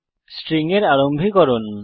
string এর আরম্ভীকরণ